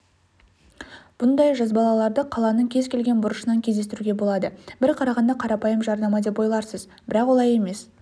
бұндай жазбалаларды қаланың кез-келген бұрышынан кездестіруге болады бір қарағанда қарапайым жарнама деп ойларсыз бірақ олай емес